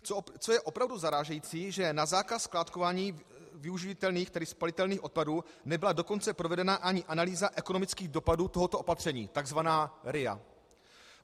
Co je opravdu zarážející, že na zákaz skládkování využitelných - tedy spalitelných - odpadů nebyla dokonce provedena ani analýza ekonomických dopadů tohoto opatření, takzvaná RIA.